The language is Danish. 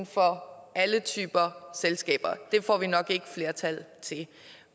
for alle typer selskaber det får vi nok ikke et flertal til